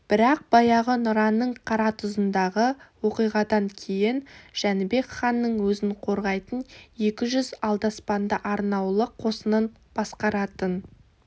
бірақ баяғы нұраның қаратұзындағы оқиғадан кейін жәнібек ханның өзін қорғайтын екі жүз алдаспанды арнаулы қосынын басқаратын